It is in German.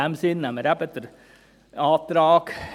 In diesem Sinn nehmen wir den Antrag